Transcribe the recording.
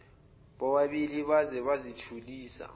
bobabili baze bazithulisa